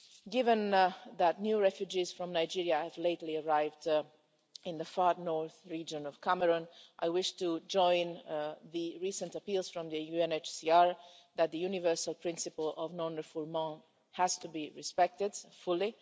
Given that new refugees from Nigeria have recently arrived in the far north region of Cameroon, I wish to join the recent appeals from the UNHCR that the universal principle of non refoulement has to be respected fully.